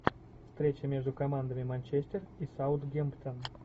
встреча между командами манчестер и саутгемптон